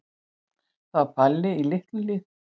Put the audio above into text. Það var Palli í Litlu-Hlíð.